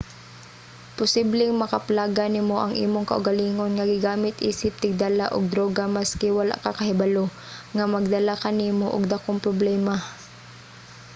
posibleng makaplagan nimo ang imong kaugalingon nga gigamit isip tigdala og druga maski wala ka kahibalo nga magdala kanimo og dakong problema